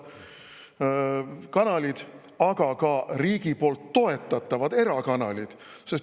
… kanalid, aga ka riigi poolt toetatavad erakanalid.